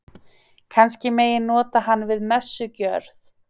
Kannski megi nota hann við messugjörð.